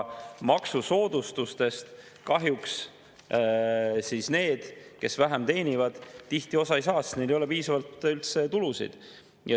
Maksusoodustustest kahjuks need, kes vähem teenivad, tihti osa ei saa, sest neil ei ole piisavalt tulusid.